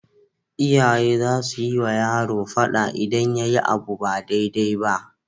Iyaye zasuyi wa yaro fada idan yayi abu ba dai dai na